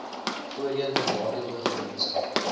voorheen benadeelde gemeenskappe